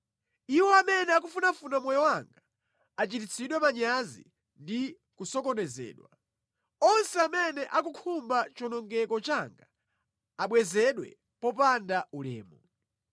Iwo amene akufunafuna moyo wanga achititsidwe manyazi ndi kusokonezedwa; onse amene akukhumba chiwonongeko changa abwezedwe mopanda ulemu.